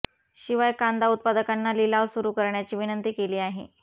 शिवाय कांदा उत्पादकांना लिलाव सुरू करण्याची विनंती केली आहे